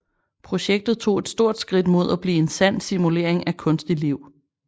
Projektet tog et stort skridt mod at blive en sand simulering af kunstigt liv